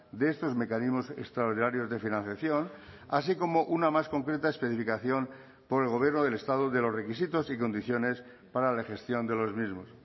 de estos mecanismos extraordinarios de financiación así como una más concreta especificación por el gobierno del estado de los requisitos y condiciones para la gestión de los mismos